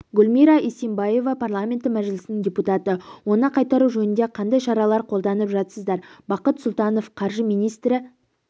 гүлмира исинбаева парламенті мәжілісінің депутаты оны қайтару жөнінде қандай шаралар қолданып жатсыздар бақыт сұлтанов қаржы министрі